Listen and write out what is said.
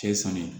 Cɛ ye san ye